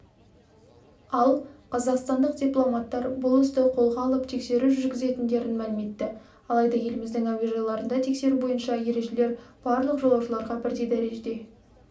ал қазақстандық дипломаттар бұл істі қолға алып тексеру жүргізетіндерін мәлім етті алайда еліміздің әуежайларында тексеру бойынша ережелер барлық жолаушыларға бірдей дәрежеде